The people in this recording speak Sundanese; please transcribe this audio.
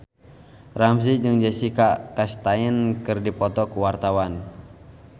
Ramzy jeung Jessica Chastain keur dipoto ku wartawan